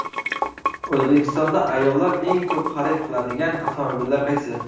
O‘zbekistonda ayollar eng ko‘p xarid qiladigan avtomobillar qaysi?.